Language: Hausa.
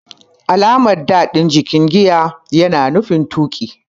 Alamar "D" din jikin giya yana nufin tuki.